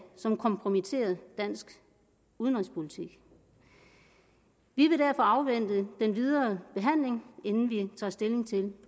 som kompromitterer dansk udenrigspolitik vi vil derfor afvente den videre behandling inden vi tager stilling til